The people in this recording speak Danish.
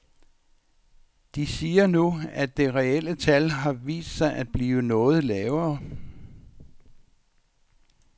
De siger nu, at det reelle tal har vist sig at blive noget lavere.